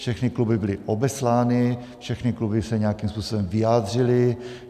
Všechny kluby byly obeslány, všechny kluby se nějakým způsobem vyjádřily.